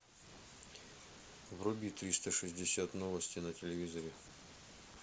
вруби триста шестьдесят новости на телевизоре